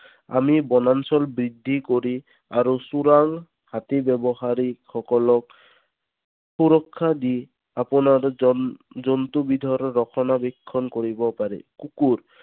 আমি বনাঞ্চল বৃদ্ধি কৰি আৰু চোৰাং হাতী ব্যৱসায়ীসকলক সুৰক্ষা দি এই আপোনাৰ জন্তুবিধৰ ৰক্ষণাবেক্ষণ কৰিব পাৰে। কুকুৰ।